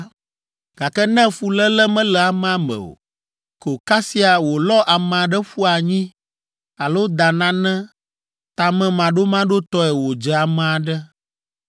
“ ‘Gake ne fuléle mele amea me o, ko kasia wòlɔ ame aɖe ƒu anyi alo da nane tamemaɖomaɖotɔe wòdze ame aɖe,